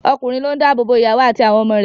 Ọkùnrin ló ń dá ààbò bo ìyàwó àti àwọn ọmọ rẹ̀